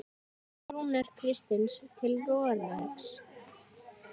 Fer Rúnar Kristins til Noregs?